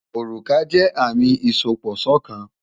Òrùka jẹ́ àmì ìsopọ̀ṣọ̀kan.